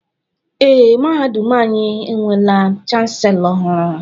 Ee, mahadum anyị enweela Chanselọ ọhụrụ.